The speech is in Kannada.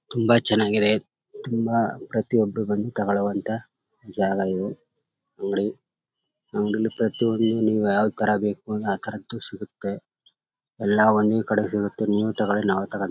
ತುಂಬಾ ಚನ್ನಾಗಿದೆ ತುಂಬಾ ಪ್ರತಿ ಒಬ್ಬರು ಬಂದು ತಗೋಳ್ವಂತ ಜಾಗ ಇವು ನೋಡಿ ಅಂಗಡಿಲಿ ಪ್ರತಿ ಒಂದು ನೀವು ಯಾವತರ ಬೇಕು ಆತರ ಸಿಗುತ್ತೆ ಎಲ್ಲ ಒಂದೇ ಕಡೆ ಸಿಗುತ್ತೆ ನೀವು ತಗೋಳಿ ನಾವು --